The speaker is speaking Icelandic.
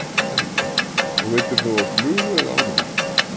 Helga: Og veiddir þú á flugu eða ánamaðk?